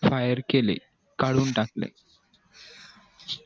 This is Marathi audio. fire केले कडून टाकले